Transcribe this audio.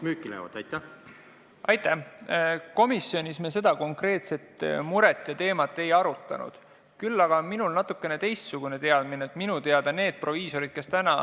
Hea esimees!